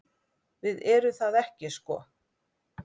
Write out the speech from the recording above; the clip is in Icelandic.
Við gerum það ekki sko.